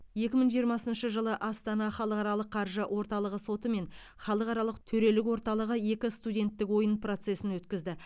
екі мың жиырмасыншы жылы астана халықаралық қаржы орталығы соты мен халықаралық төрелік орталығы екі студенттік ойын процесін өткізді